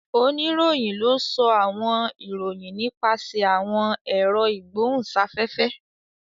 Onirohin ló sọ àwọn ìròyìn nípasẹ awọn èro igbohunsafefe.